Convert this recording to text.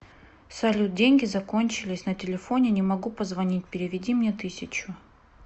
салют деньги закончились на телефоне не могу позвонить переведи мне тысячу